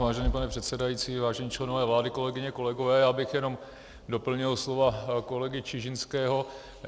Vážený pane předsedající, vážení členové vlády, kolegyně, kolegové, já bych jenom doplnil slova kolegy Čižinského.